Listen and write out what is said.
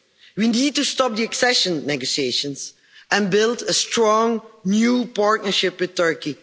We need to stop the accession negotiations and build a strong, new partnership with Turkey.